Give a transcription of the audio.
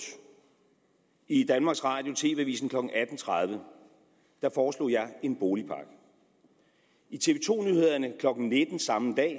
i danmarks radio tv avisen klokken atten tredive foreslog jeg en boligpakke i tv to nyhederne klokken nitten samme dag